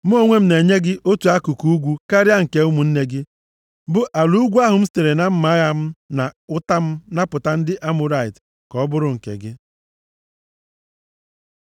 Mụ onwe m na-enye gị otu akụkụ ugwu karịa nke ụmụnne gị, bụ ala ugwu ahụ m sitere na mma agha m na ụta m napụta ndị Amọrait ka ọ bụrụ nke gị.”